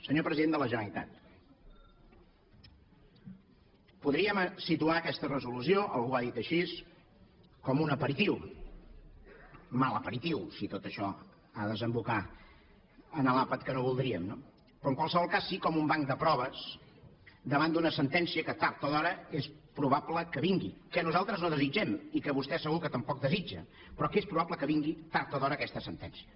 senyor president de la generalitat podríem situar aquesta resolució algú ho ha dit així com un aperitiu mal aperitiu si tot això ha de desembocar en l’àpat que no voldríem no però en qualsevol cas sí com un banc de proves davant d’una sentència que tard o d’hora és probable que vingui que nosaltres no desitgem i que vostè segur que tam poc desitja però que és probable que vingui tard o d’hora aquesta sentència